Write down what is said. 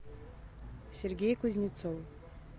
сергей кузнецов